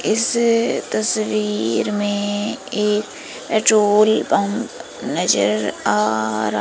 इस तस्वीर में एक पेट्रोल पंप नजर आ र--